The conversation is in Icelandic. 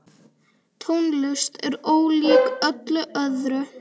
Tónlist er ólík öllu öðru.